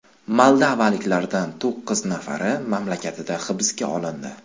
Moldovaliklardan to‘qqiz nafari mamlakatida hibsga olindi.